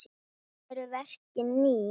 Eru verkin ný?